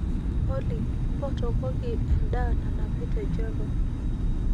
olly mpotokoki edaa nanapi te java